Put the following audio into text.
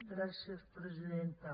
gràcies presidenta